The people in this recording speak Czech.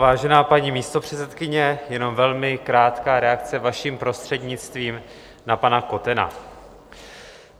Vážená paní místopředsedkyně, jenom velmi krátká reakce, vaším prostřednictvím, na pana Kotena.